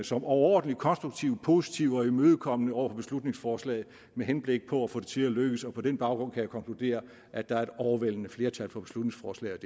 som overordentlig konstruktive positive og imødekommende over for beslutningsforslaget med henblik på at få det til at lykkes og på den baggrund kan jeg konkludere at der er et overvældende flertal for beslutningsforslaget